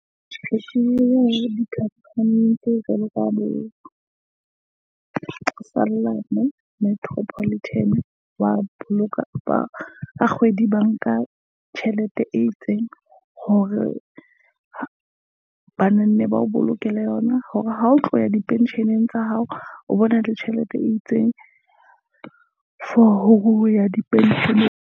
Tjhese di campaign tse jwalojwalo. Sothoane Metropolitan wa boloka ba kgwedi ba nka tjhelete e itseng hore banne ba o bolokela yona. Hore ha o tloya di-pension-eng tsa hao, o bona le tjhelete e itseng for ho ya di pension eng .